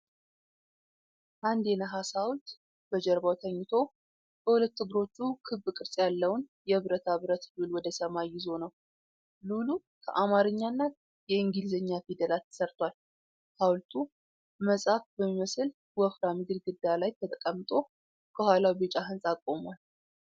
አንድ የነሐስ ሐውልት በጀርባው ተኝቶ፣ በሁለት እግሮቹ ክብ ቅርጽ ያለውን የብረታ ብረት ሉል ወደ ሰማይ ይዞ ነው። ሉሉ ከአማርኛና የእንግሊዝኛ ፊደላት ተሠርቷል። ሐውልቱ መጽሐፍ በሚመስል ወፍራም ግድግዳ ላይ ተቀምጦ፣ ከኋላው ቢጫ ህንጻ ቆሟል።